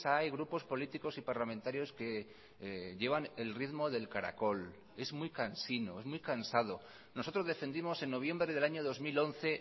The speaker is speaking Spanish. hay grupos políticos y parlamentarios que llevan el ritmo del caracol es muy cansino es muy cansado nosotros defendimos en noviembre del año dos mil once